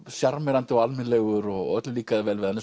sjarmerandi og almennilegur og öllum líkaði vel við hann